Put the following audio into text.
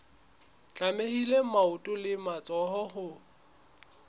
tlamehile maoto le matsoho ho